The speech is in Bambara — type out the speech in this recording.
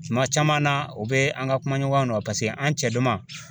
Kuma caman na o bɛ an ka kuma ɲɔgɔnya nɔ paseke an cɛ dama